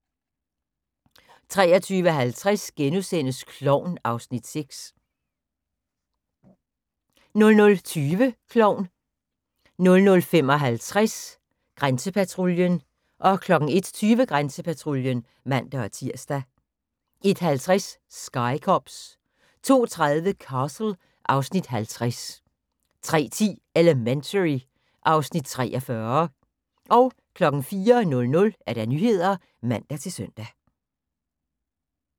23:50: Klovn (Afs. 6)* 00:20: Klovn 00:55: Grænsepatruljen 01:20: Grænsepatruljen (man-tir) 01:50: Sky Cops 02:30: Castle (Afs. 50) 03:10: Elementary (Afs. 43) 04:00: Nyhederne (man-søn)